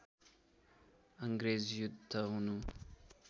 अङ्ग्रेज युद्ध हुनु